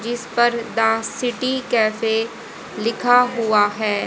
जिस पर dance city cafe लिखा हुआ है।